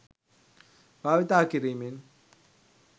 භාවිතා කිරීමෙන්